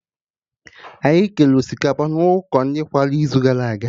Anyị kere osikapa na ụkọ ndị nkwarụ n'izugara aga